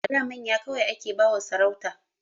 A da manya kawai ake ba wa sarauta